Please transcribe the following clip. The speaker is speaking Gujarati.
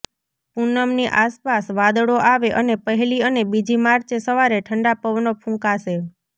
પુનમની આસપાસ વાદળો આવે અને પહેલી અને બીજી માર્ચે સવારે ઠંડા પવનો ફૂંકાશે